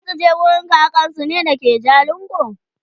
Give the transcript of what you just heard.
zasuje wurin kakansu da ke jalingo ne?